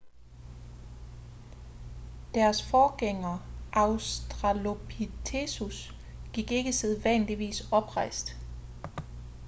deres forgængere australopithecus gik ikke sædvanligvis oprejst